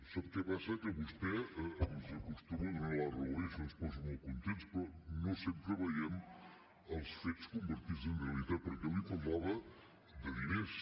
sap què passa que vostè ens acostuma a donar la raó i això ens posa molt contents però no sempre veiem els fets convertits en realitat perquè jo li parlava de diners